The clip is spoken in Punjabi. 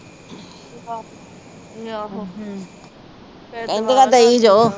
ਦਿਓ ਜਾਓ